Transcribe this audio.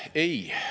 Ei!